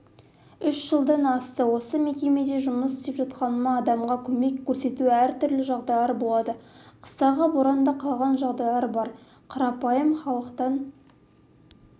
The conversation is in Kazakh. үш жылдан асты осы мекемеде жұмыс істеп жатқаныма адамға көмек көрсету әртүрлі жағдайлар болады қыстағы боранда қалған жағдайлар бар қарапайым халықтан